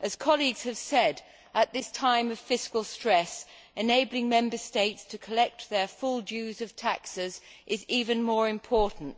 As colleagues have said, at this time of fiscal stress, enabling Member States to collect their full dues of taxes is even more important.